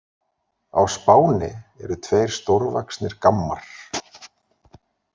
Á Spáni eru tveir stórvaxnir gammar.